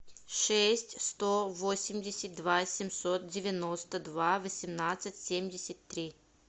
шесть сто восемьдесят два семьсот девяносто два восемнадцать семьдесят три